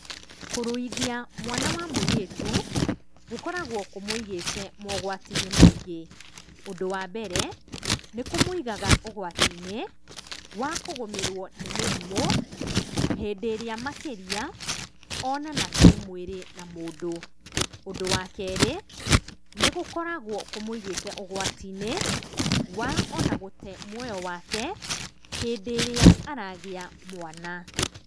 Kũruithia mwana wa mũirĩtu, gũkoragwo kũmũigĩte maũgwati-inĩ maingĩ, ũndũ wa mbere, nĩ kũmũigaga ũgwati-inĩ wa kũgũmĩrwo mĩrimũ, hĩndĩ ĩrĩa makĩria, onana kĩmwĩrĩ na mũndũ. Ũndũ wa kerĩ, nĩ gũkoragwo kũmũigĩte ũgwati-inĩ wa ona gũte muoya wake hĩndĩ ĩrĩa aragĩa mwana.